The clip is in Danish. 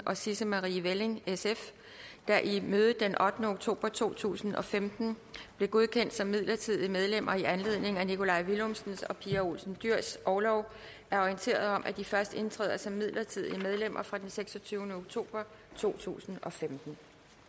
og sisse marie welling der i mødet den ottende oktober to tusind og femten blev godkendt som midlertidige medlemmer i anledning af nikolaj villumsens og pia olsen dyhrs orlov er orienteret om at de først indtræder som midlertidige medlemmer fra den seksogtyvende oktober to tusind og femten